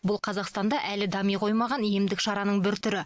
бұл қазақстанда әлі дами қоймаған емдік шараның бір түрі